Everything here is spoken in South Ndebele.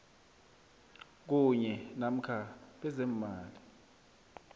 kunye namkha bezeemali